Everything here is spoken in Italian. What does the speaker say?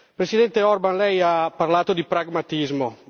Presidente Orbán, lei ha parlato di pragmatismo.